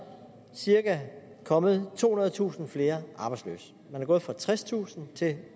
cirka kommet tohundredetusind flere arbejdsløse man er gået fra tredstusind til